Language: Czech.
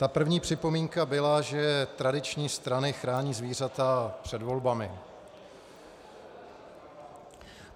Ta první připomínka byla, že tradiční strany chrání zvířata před volbami.